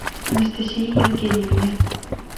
анастасии евгеньевне